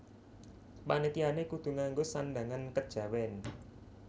Panitiané kudu ngango sandhangan kejawèn